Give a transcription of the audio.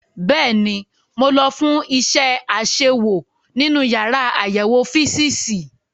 Bẹ́ẹ̀ni, mo lọ fún iṣẹ́ àṣewò nínú yàrá àyẹ̀wò físììsì.